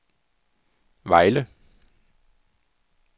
Vejle